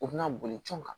U bɛna boli cɔn kan